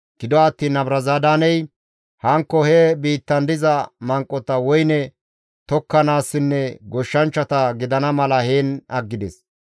Gido attiin Nabuzaradaaney hankko he biittan diza manqota woyne tokkanaassinne goshshanchchata gidana mala heen aggides.